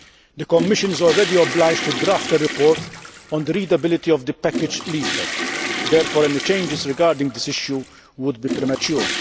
The Commission is already obliged to draft a report on the readability of the package leaflet. Therefore, any changes regarding this issue would be premature.